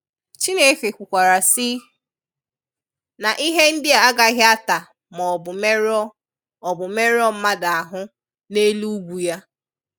Chineke kwukwara sị, “na ihe ndị a agaghị ata ma ọ bụ merụọ ọ bụ merụọ mmadụ ahụ n'elu ugwu Ya.”